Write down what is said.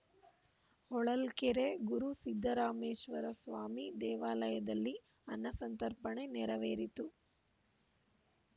ಹೊಳಲ್ಕೆರೆ ಗುರು ಸಿದ್ದರಾಮೇಶ್ವರಸ್ವಾಮಿ ದೇವಾಲಯದಲ್ಲಿ ಅನ್ನಸಂತರ್ಪಣೆ ನೆರವೇರಿತು